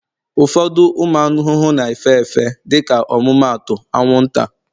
ụfọdụ ụmụ ahụhụ na-efe efe, dịka ọmụmaatụ, anwụnta,